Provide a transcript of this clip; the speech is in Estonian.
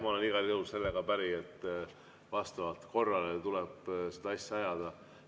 Ma olen igal juhul sellega päri, et vastavalt korrale tuleb seda asja ajada.